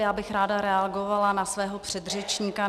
Já bych ráda reagovala na svého předřečníka.